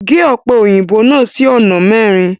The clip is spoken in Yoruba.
Gẹ́ òpẹ́ oyinbó náà sí ọ̀nà mẹrin!